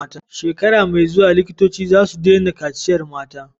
Shekara me zuwa likitoci zasu daina kaciyar mata